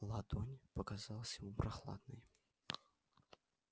ладонь показалась ему прохладной